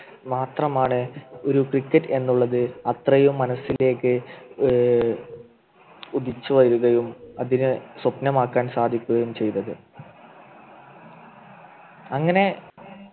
മാത്രമാണ് ഒരു Cricket എന്നുള്ളത് അത്രയും മനസ്സിലേക്ക് ഏർ ഉദിച്ചു വരികയും അതിന് സ്വപ്നമാക്കാൻ സാധിക്കുകയും ചെയ്തത് അങ്ങനെ